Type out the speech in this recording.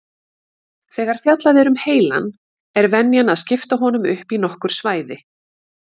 Þegar fjallað er um heilann er venjan að skipta honum upp í nokkur svæði.